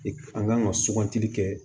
an kan ka sugantili kɛ